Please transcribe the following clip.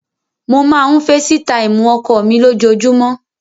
Mo máa ń feesitáìmù ọkọ mi lójoojúmọ́.